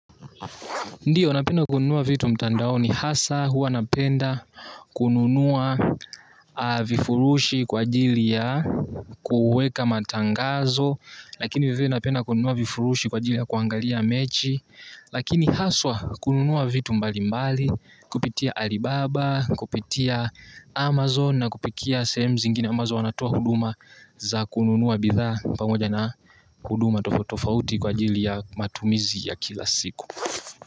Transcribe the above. Ndiyo napenda kununua vitu mtandaoni hasa huwa napenda kununua vifurushi kwa ajili ya kuweka matangazo. Lakini vive napenda kununua vifurushi kwa ajili ya kuangalia mechi. Lakini haswa kununua vitu mbalimbali kupitia Alibaba kupitia Amazon na kupitia sehemu zingine ambazo wanatoa huduma za kununua bidhaa pamoja na huduma tofauti tofauti kwa ajili ya matumizi ya kila siku.